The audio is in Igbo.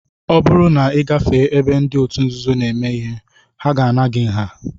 Ọ bụrụ na ị gafee ebe ndị otu nzuzo na-eme nzukọ, ha ga-ana gị nha